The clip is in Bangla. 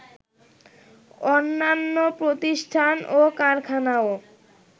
অন্যান্য প্রতিষ্ঠান ও কারখানাও